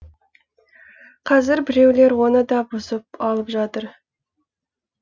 қазір біреулер оны да бұзып алып жатыр